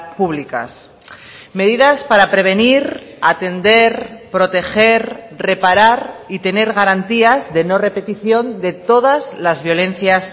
públicas medidas para prevenir atender proteger reparar y tener garantías de no repetición de todas las violencias